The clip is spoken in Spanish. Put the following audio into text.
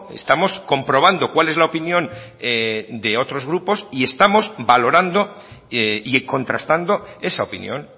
estamos comprobando cuál es la opinión de otros grupos y estamos valorando y contrastando esa opinión